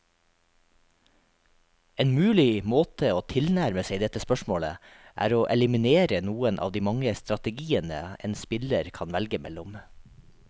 En mulig måte å tilnærme seg dette spørsmålet, er å eliminere noen av de mange strategiene en spiller kan velge mellom.